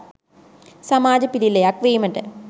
සමාජ පිළිලයක් වීමට